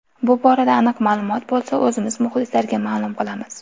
Bu borada aniq ma’lumot bo‘lsa, o‘zimiz muxlislarga ma’lum qilamiz.